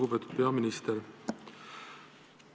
Lugupeetud peaminister!